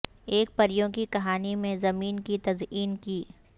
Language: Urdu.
ایک پریوں کی کہانی میں زمین کی تزئین کی